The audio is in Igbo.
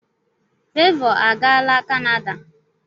Fevo agaala kanada.